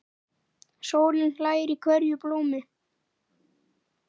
Sólin hlær í hverju blómi.